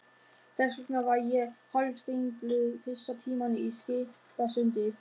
Þess vegna var ég hálfringluð fyrsta tímann í Skipasundi.